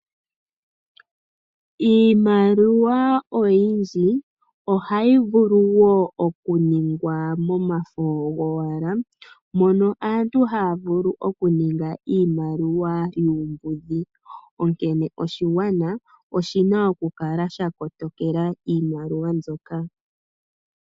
Iimaliwa oyindji ohayi vulu oku ningwa momafo go wala. Mono aantu haya vulu oku ninga iimaliwa yuumbudhi. Onkene oshigwana oshina oku kala sha kotokela iimaliwa mbyoka.